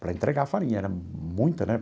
Para entregar farinha, era muita, né?